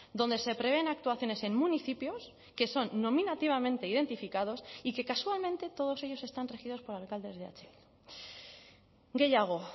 donde se prevén actuaciones en municipios que son nominativamente identificados y que casualmente todos ellos están regidos por alcaldes de eh bildu gehiago